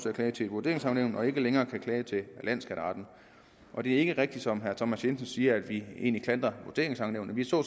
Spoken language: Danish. at klage til et vurderingsankenævn og ikke længere kan klage til landsskatteretten og det er ikke rigtigt som herre thomas jensen siger at vi egentlig klandrer vurderingsankenævnene vi så